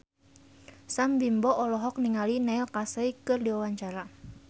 Sam Bimbo olohok ningali Neil Casey keur diwawancara